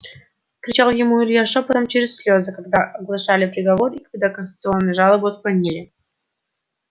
кричал ему илья шёпотом через слезы когда оглашали приговор и когда кассационную жалобу отклонили